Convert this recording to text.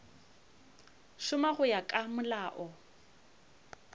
šoma go ya ka molao